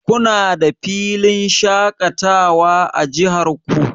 Kuna da filin shaƙatawa a jihar ku?